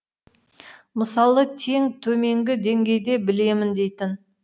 мысалы тең төменгі деңгейде білемін дейтін